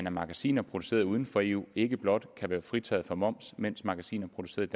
at magasiner produceret uden for eu ikke blot kan være fritaget for moms mens magasiner produceret